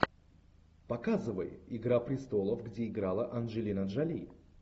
показывай игра престолов где играла анджелина джоли